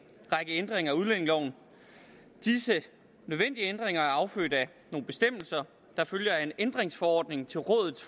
række ændringer af udlændingeloven disse nødvendige ændringer er affødt af nogle bestemmelser der følger af en ændringsforordning til rådets